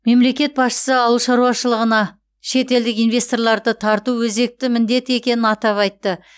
мемлекет басшысы ауыл шаруашылығыныа шетелдік инвесторларды тарту өзекті міндет екенін атап айтты